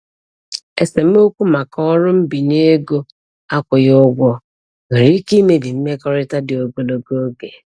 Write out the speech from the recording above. Esemokwu maka ọrụ mbinye ego akwụghị ụgwọ nwere ike imebi mmekọrịta dị ogologo oge.